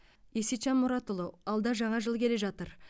есетжан мұратұлы алда жаңа жыл келе жатыр